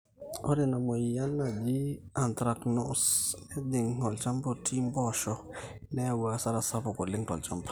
ore ina mweyian naji anthracnose nejing olchamba otii mpoosho neyau asara sapuk oleng tolchamba